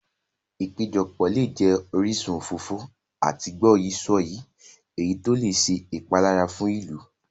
Ìpéjọpọ̀ lè jẹ orísun òfófó àti gbọ́yìí-sọ̀yìí, èyí tó lè ṣe ìpalára fún ìlú.